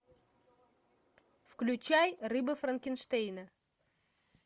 включай рыба франкенштейна